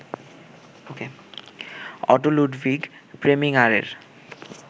auto Ludwig প্রেমিঙারের